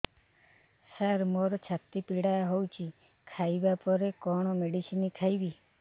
ସାର ମୋର ଛାତି ପୀଡା ହଉଚି ଖାଇବା ପରେ କଣ ମେଡିସିନ ଖାଇବି